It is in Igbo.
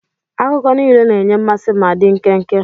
Akụkọ niile na-enye mmasị ma dị nkenke.